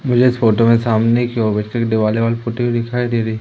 मुझे इस फोटो में सामने दीवाल पुती हुई दिखाई दे रही--